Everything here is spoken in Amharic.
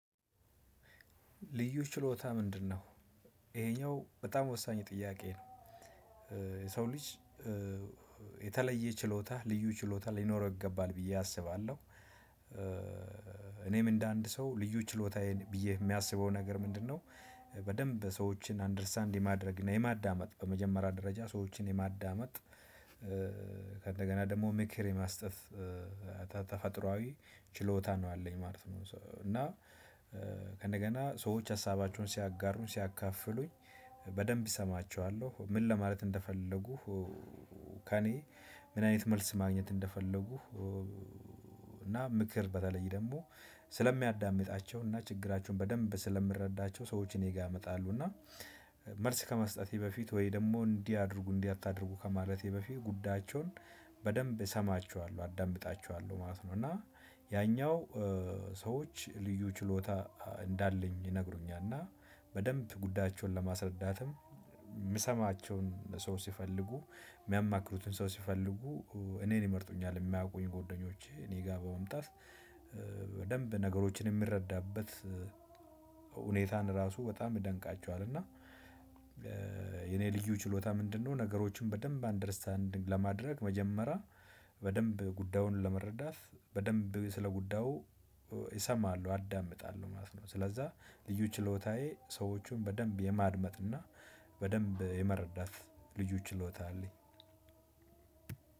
ልዩ ችሎታ ምንድነው? ይሄኛው በጣም ወሳኝ ጥያቄ ነው። የሰው ልጅ የተለየ ችሎታ ልዩ ችሎታ ሊኖረው ይገባል ብዬ አስባለሁ። እኔም እንደ አንድ ሰው ልዩ ችሎታዬን ብዬ የሚያስበው ነገር ምንድነው? በደንብ ሰዎችን አንደርስታንድ የማድረግ እና የማዳመጥ በመጀመሪያ ደረጃ ሰዎችን የማዳመጥ። ከእንደገና ደግሞ ምክር የመስጠት ተፈጥሮአዊ ችሎታ ነው አለኝ ማለት ነው። እና ከእንደገና ሰዎች ሀሳባቸውን ሲያጋሩኝ ሲያካፍሉኝ በደንብ እሰማቸዋለሁ ምን ለማለት እንደፈለጉ። ከእኔ ምን አይነት መልስ ማግኘት እንደፈለጉ። እና ምክር በተለይ ደግሞ ስለሚያዳምጣቸውና ችግራቸውን በደንብ ስለምረዳቸው ሰዎች እኔ ጋር ይመጣሉና። መልስ ከመስጠቴ በፊት ወይ ደግሞ እንዲህ አድርጉ እንዲህ አታድርጉ ከማለቴ በፊት ጉዳቸውን በደንብ እሰማቸዋለሁ አደምጣችኋለሁ ማለት ነው። እና ያኛው ሰዎች ልዩ ችሎታ እንዳለኝ ይነግሩኛል። እና በደንብ ጉዳቸውን ለማስረዳትም የምሰማቸውን ሰው ሲፈልጉ የሚያማክሩትን ሰው ሲፈልጉ እኔን ይመርጡኛል። የሚያውቁኝ ጎደኞቼ እኔ ጋር በመምጣት በደንብ ነገሮችን የምረዳበት ሁኔታን ራሱ በጣም ይደንቃቸዋል። እና የኔ ልዩ ችሎታ ምንድነው? ነገሮችን በደንብ አንደርስታንዲንግ ለማድረግ መጀመሪያ በደንብ ጉዳዩን ለመረዳት በደንብ ስለ ጉዳዩ ይሰማሉ አዳምጣለሁ ማለት ነው። ስለዛ ልዩ ችሎታዬ ሰዎቹን በደንብ የማድመጥና በደንብ የመረዳት ልዩ ችሎታ አለኝ።